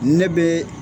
Ne bɛ